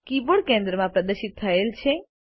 keyboard કેન્દ્રમાં પ્રદર્શિત થયેલ છે